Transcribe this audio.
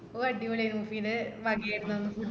ഓ അടിപൊളിയാർന്ന് പിന്നെ വകയറുന്നു food